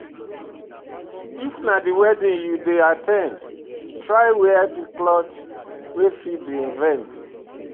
If na wedding you dey at ten d, try wear di cloth wey fit di event